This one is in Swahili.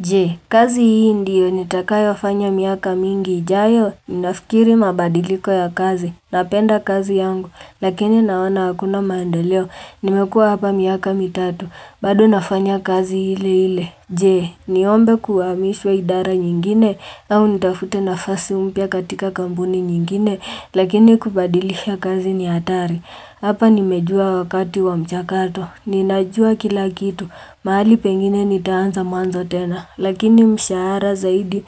Jee, kazi hii ndiyo nitakao fanya miaka mingi ijayo, ninafikiri mabadiliko ya kazi, napenda kazi yangu, lakini naona hakuna maendeleo, nimekua hapa miaka mitatu, bado nafanya kazi ile ile Je, niombe kuhamishwa idara nyingine, au nitafute nafasi umpya katika kampuni nyingine, lakini kubadilisha kazi ni hatari. Hapa nimejua wakati wa mchakato, ninajua kila kitu, mahali pengine nitaanza mwanzo tena, lakini mshahara zaidi